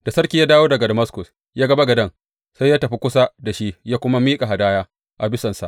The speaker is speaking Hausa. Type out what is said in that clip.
Da sarki ya dawo daga Damaskus ya ga bagaden, sai ya tafi kusa da shi ya kuma miƙa hadaya a bisansa.